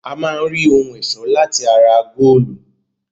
A máa rí ohun-ẹ̀ṣọ́ láti ara góólù.